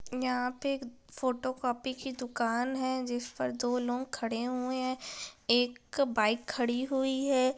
यहाँ पे एक फोटो कॉपी की दुकान है जिस पर दो लोग खड़े हुए है एक बाइक खड़ी हुई हैं।